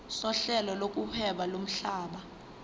sohlelo lokuhweba lomhlaba